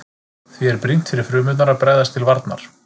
Því er brýnt fyrir frumurnar að bregðast til varnar.